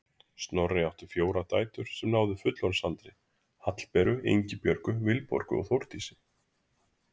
Snorri átti fjórar dætur sem náðu fullorðinsaldri: Hallberu, Ingibjörgu, Vilborgu og Þórdísi.